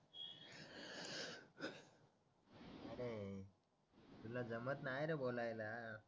तुला जमत नाय रे बोलायला